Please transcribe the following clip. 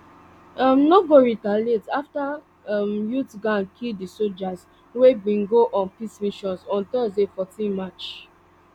um no go retaliate afta um youth gang kill di sojas wey bin go on peace mission on thursday fourteen march